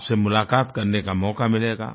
आपसे मुलाक़ात करने का मौका मिलेगा